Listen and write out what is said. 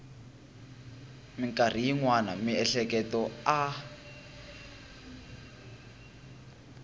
mikarhi yin wana miehleketo a